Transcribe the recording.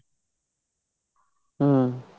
ਹਮ